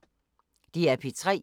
DR P3